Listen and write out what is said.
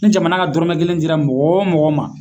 Ni jamana ka dɔrɔmɛ kelen dira mɔgɔ o mɔgɔ ma